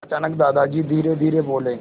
अचानक दादाजी धीरेधीरे बोले